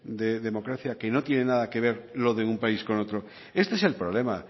de democracia que no tiene nada que ver lo de un país con otro este es el problema